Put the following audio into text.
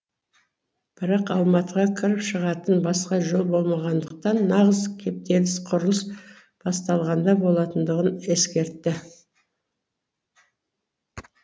бірақ алматыға кіріп шығатын басқа жол болмағандықтан нағыз кептеліс құрылыс басталғанда болатындығын ескертті